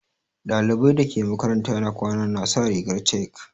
Ɗalibai dake makaranta na kwana na sa rigar chek.